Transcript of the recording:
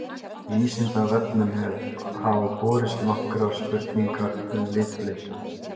Vísindavefnum hafa borist nokkrar spurningar um litblindu.